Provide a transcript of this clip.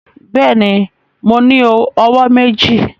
Bẹẹni, Mo ni ọwọ meji.